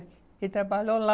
Ele trabalhou lá.